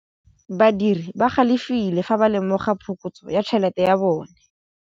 Badiri ba galefile fa ba lemoga phokotsô ya tšhelête ya bone.